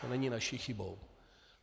To není naší chybou.